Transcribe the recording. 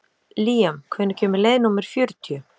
Líam, hvenær kemur leið númer fjörutíu?